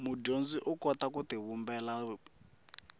mudyondzi u kota ku tivumbela